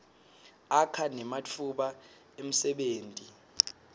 akha nematfuba emsebenti